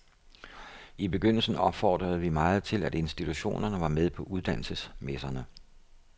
I begyndelsen opfordrede vi meget til, at institutionerne var med på uddannelsesmesserne.